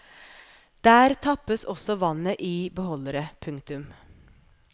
Der tappes også vannet i beholdere. punktum